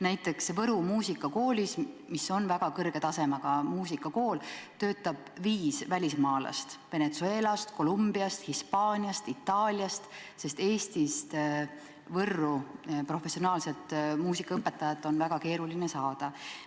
Näiteks Võru muusikakoolis, mis on väga kõrge tasemega muusikakool, töötab viis välismaalast – Venezuelast, Colombiast, Hispaaniast, Itaaliast –, sest Eestist on Võrru professionaalset muusikaõpetajat väga keeruline saada.